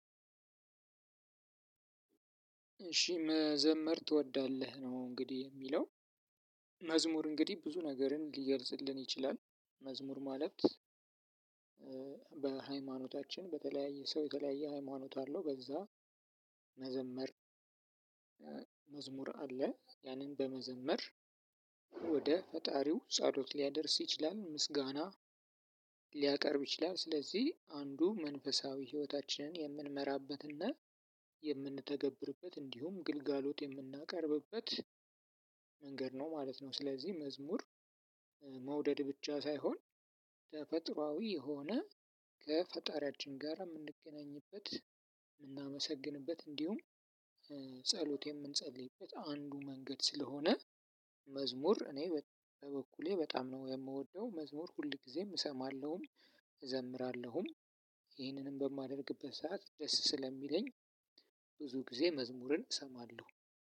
እሺ መዘመር ትወዳለህ ነው እንግዲህ የሚለው መዝሙር እንግዲህ ብዙ ነገርን ሊገልጽልን ይችላል። መዝሙር ማለት በሃይማኖታችን በተለያየ ሰው የተለያየ ሃይማኖት አለው በዛ መዘመር። መዝሙር አለ ያንን በመዘመር ወደ ፈጣሪው ጻሎት ሊያደርስ ይችላል። ምስጋና ሊያቀርብ ይችላል። ስለዚህ አንዱ መንፈሳዊ ህይወታችንን የምንመራበትና የምንተገብርበት እንዲሁም ግልጋሎት የምናቀርብበት መንገድ ነው ማለት ነው። ስለዚህ መዝሙር መውደድ ብቻ ሳይሆን ተፈጥሮአዊ የሆነ ከፈጣሪያችን ጋር እምንገናኝበት እምናመሰግንበት እንዲሁም ጸሎት የምንጸልይበት አንዱ መንገድ ስለሆነ። መዝሙር እኔ በበኩሌ በጣም ነው እምወደው መዝሙር ሁልጊዜም እሰማለሁኝ አዘምራለሁ። ይህንንም በማደርግበት ሰዓት ደስ ስለሚለኝ። ብዙ ጊዜ መዝሙርን እሰማለሁ።